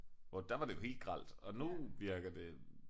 Hvor der var det jo helt grelt og nu virker det